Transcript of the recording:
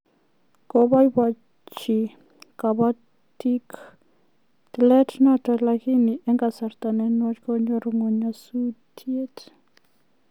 Kobobochi koboitiik tileenoto lakini eng kasarta ne nwach konyor ngwony nyasutiet